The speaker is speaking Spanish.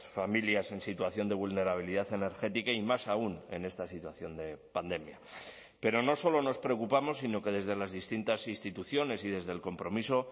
familias en situación de vulnerabilidad energética y más aún en esta situación de pandemia pero no solo nos preocupamos sino que desde las distintas instituciones y desde el compromiso